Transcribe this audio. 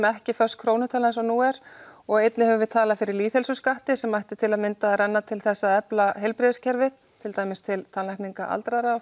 ekki föst krónutala eins og nú er og einnig höfum við talað fyrir lýðheilsuskatti sem mætti til að mynda renna til þess að efla heilbrigðiskerfið til dæmis til tannlækninga aldraðra og